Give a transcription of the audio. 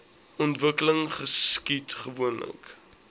ontwikkeling geskied gewoonlik